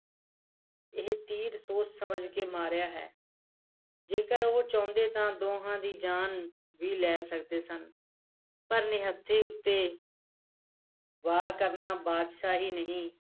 ਇਹ ਤੀਰ ਸੋਚ ਸਮਝ ਕੇ ਮਾਰਿਆ ਹੈ ਜੇਕਰ ਉਹ ਚਾਹੁੰਦੇ ਤਾਂ ਦੋਨਾਂ ਦੀ ਜਾਣ ਵੀ ਲੈ ਸਕਦੇ ਸਨ ਪਰ ਨਿੱਹਥੇ ਉੱਥੇ ਵਾਰ ਕਰਨਾ ਬਾਦਸ਼ਾਹੀ ਹੀ ਨਹੀ